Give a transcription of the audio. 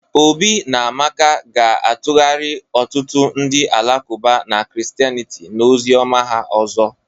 Obi na Amaka ga-atụgharị ọtụtụ ndị Alakụba na Christianity na ozi ọma ha ọzọ